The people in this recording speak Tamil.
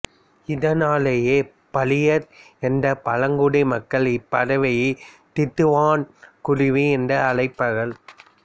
இதனாலேயே பளியர் என்ற பழங்குடி மக்கள் இப்பறவையை திட்டுவான் குருவி என்று அழைப்பார்கள்